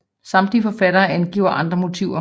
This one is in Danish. Andre samtidige forfattere angiver andre motiver